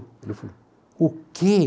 Ele falou, o quê?